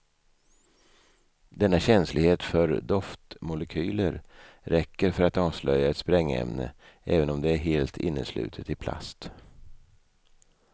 Denna känslighet för doftmolekyler räcker för att avslöja ett sprängämne även om det är helt inneslutet i plast.